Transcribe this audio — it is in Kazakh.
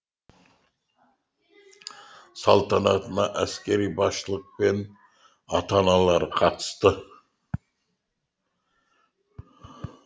салтанатына әскери басшылық пен ата аналары қатысты